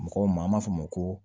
Mɔgɔw ma an b'a fɔ o ma ko